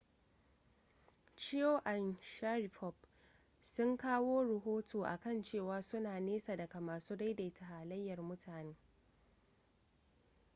chiao da sharipov sun kawo rahoto a kan cewa suna nesa daga masu daidaita halayyar mutane